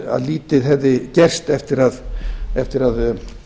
að lítið hefði gerst eftir að